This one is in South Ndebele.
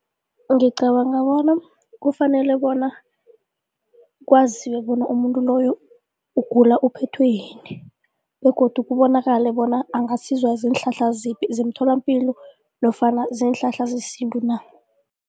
Ngicabanga bona kufanele bona kwaziwe bona umuntu loyo ugula uphethwe yini begodu kubonakale bona angasizwa ziinhlahla ziphi zemtholampilo nofana ziinhlahla zesintu na.